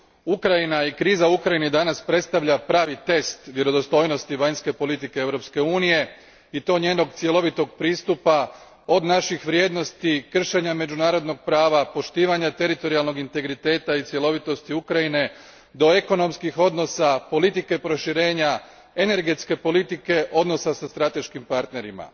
Ukrajina i kriza u Ukrajini danas predstavlja pravi test vjerodostojnosti vanjske politike Europske unije i to njenog cjelovitog pristupa, od naših vrijednosti, kršenja međunarodnog prava, poštivanja teritorijalnog integriteta i cjelovitosti Ukrajine do ekonomskih odnosa, politike proširenja, energetske politike, odnosa sa strateškim partnerima.